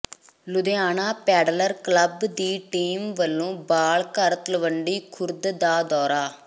Ludhiana pedaller club ਦੀ team ਵਲੋਂ ਬਾਲ ਘਰ ਤਲਵੰਡੀ ਖੁਰਦ ਦਾ ਦੌਰਾ